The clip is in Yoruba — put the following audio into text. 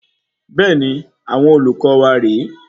Bẹẹni, àwọn olùkọ wa rè é